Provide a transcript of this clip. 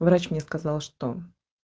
врач мне сказал что